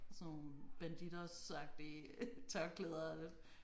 Sådan nogle Bandidosagtige tørklæder det